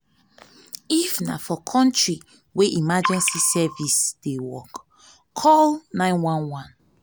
if na for country wey emergency service dey work call 911